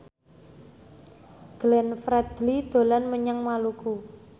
Glenn Fredly dolan menyang Maluku